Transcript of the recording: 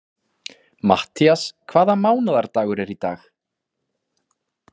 Matthías, hvaða mánaðardagur er í dag?